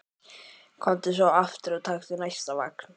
Komdu svo aftur og taktu næsta vagn.